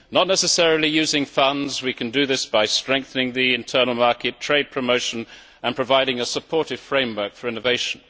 Not necessarily by using funds we can do this by strengthening the internal market, trade promotion and providing a supportive framework for innovation.